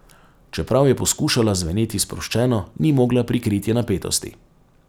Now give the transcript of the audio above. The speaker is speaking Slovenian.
Čeprav je poskušala zveneti sproščeno, ni mogla prikriti napetosti.